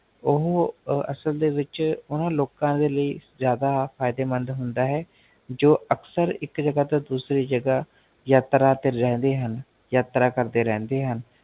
ਓਹ ਅਸਲ ਦੇ ਵਿੱਚ, ਓਨਾ ਲੋਕਾ ਦੇ ਲਈ ਜਾਦਾ ਫਾਇਦੇਮੰਦ ਹੁੰਦਾ ਹੈ, ਜੋ ਅਕਸਰ ਇੱਕ ਜਗਾਹ ਤੋ ਦੂਸਰੀ ਜਗਾਹ ਯਾਤਰਾ ਤੇ ਰਹੰਦੇ ਹਨ, ਯਾਤਰਾ ਕਰਦੇ ਰਹੰਦੇ ਹਨ